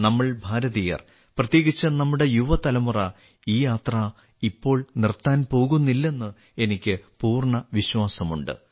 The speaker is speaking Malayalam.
നമ്മൾ ഭാരതീയർ പ്രത്യേകിച്ച് നമ്മുടെ യുവതലമുറ ഈ യാത്ര ഇപ്പോൾ നിർത്താൻ പോകുന്നില്ലെന്ന് എനിക്ക് പൂർണ വിശ്വാസമുണ്ട്